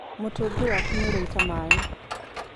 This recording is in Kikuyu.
Mũtungi waku nĩũraita maĩ.